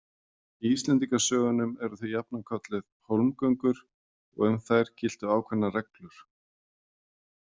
Í Íslendingasögum eru þau jafnan kölluð „hólmgöngur“ og um þær giltu ákveðnar reglur.